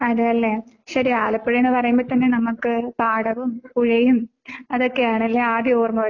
അതേല്ലേ? ശരി ആലപ്പുഴെന്നു പറയുമ്പോ തന്നെ നമുക്ക് പാടവും പുഴയും അതൊക്കെയാണല്ലേ ആദ്യം ഓർമ്മ വരുന്നേ?